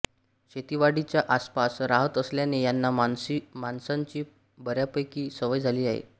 शेतीवाडीच्या आसपास राहत असल्याने यांना माणसांची बऱ्यापैकी सवय झालेली असते